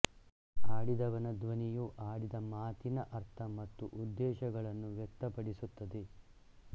ಆಡಿದವನ ಧ್ವನಿಯು ಆಡಿದ ಮಾತಿನ ಅರ್ಥ ಮತ್ತು ಉದ್ದೇಶಗಳನ್ನು ವ್ಯಕ್ತಪಡಿಸುತ್ತದೆ